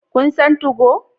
Kun san 2go?